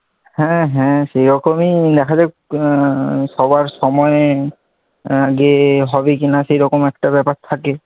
হ্যাঁ হ্যাঁ সেরকমই দেখা যাক, সবার সময়ে আগে হবে কিনা সেরকম একটা ব্যাপার থাকে,